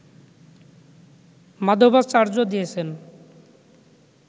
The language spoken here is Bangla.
মাধবাচার্য দিয়েছেন